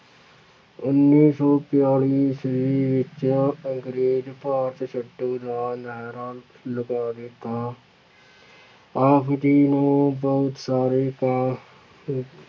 ਉੱਨੀ ਸੌ ਬਿਆਲੀ ਈਸਵੀ ਵਿੱਚ ਅੰਗਰੇਜ਼ ਭਾਰਤ ਛੱਡੋ ਦਾ ਨਾਹਰਾ ਲਗਾ ਦਿੱਤਾ ਆਪ ਜੀ ਨੂੰ ਬਹੁਤ ਸਾਰੇ